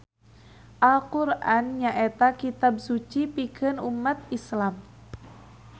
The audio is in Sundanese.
Al Qur'an nyaeta kitab suci pikeun ummat Islam.